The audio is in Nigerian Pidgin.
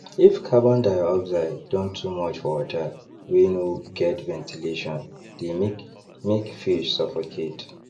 if carbondioxide don too much for water wey no get ventilation dey make make fish suffocate